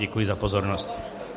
Děkuji za pozornost.